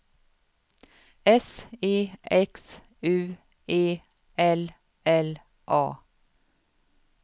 S E X U E L L A